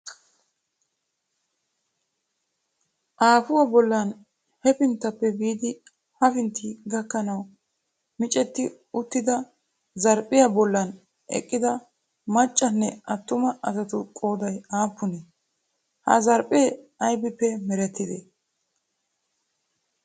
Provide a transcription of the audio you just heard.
Aafuwaa bollan hafinttappe biidi hefintti kiyanawu micetti uttida zarphphiyaa bollan eqqida maccanne attuma asatu qoodayi aappunee? Ha zarphphee ayibippe merettidee?